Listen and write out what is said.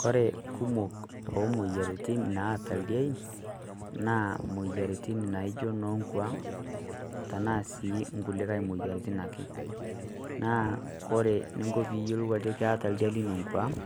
Kore kumok o moyiaritin naata ildiein, naa imoyaritin naijo noonkwaang' anaa sii kulikai imoyaritin ake. Naa ore ninko pee iyiolou ajo keata oldia lino nkwaang'